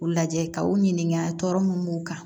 U lajɛ ka u ɲininka tɔ mun b'u kan